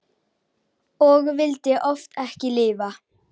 Og vildi oft ekki lifa.